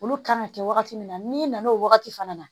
Olu kan ka kɛ wagati min na n'i nana o wagati fana na